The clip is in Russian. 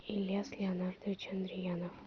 ильяс леонардович андриянов